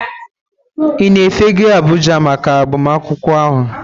Ị na-efega Abuja maka agbamakwụkwọ ahụ?